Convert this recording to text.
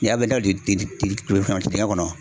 dingɛn kɔnɔ